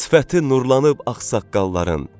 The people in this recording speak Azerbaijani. Sifəti nurlanıb ağsaqqalların.